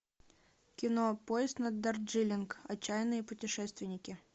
кино поезд на дарджилинг отчаянные путешественники